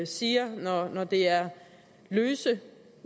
siger når det er løse